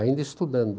Ainda estudando.